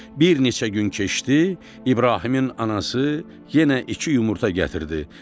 Bir neçə gün keçdi, İbrahimin anası yenə iki yumurta gətirdi.